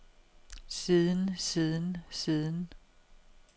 siden siden siden